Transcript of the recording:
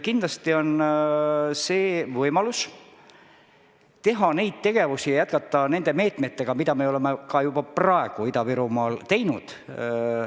Kindlasti annab see võimaluse teha neid tegevusi ja jätkata neid meetmeid, mida me oleme juba praegu Ida-Virumaal teinud.